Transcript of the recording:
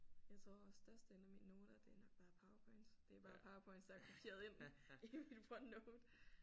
Jeg tror også størstedelen af mine noter det er fra PowerPoints det er er bare PowerPoints der er kopieret ind i mit OneNote